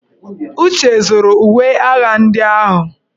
Uche zuru uwe agha ndị agha.